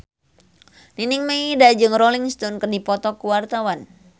Nining Meida jeung Rolling Stone keur dipoto ku wartawan